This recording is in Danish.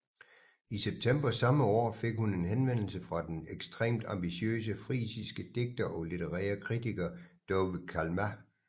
I september samme år fik hun en henvendelse fra den ekstremt ambitiøse frisiske digter og litterære kritiker Douwe Kalma